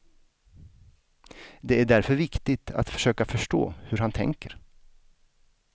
Det är därför viktigt att försöka förstå hur han tänker.